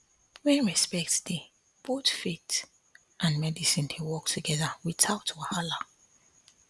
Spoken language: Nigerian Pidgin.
when respect dey both faith and medicine dey work together without wahala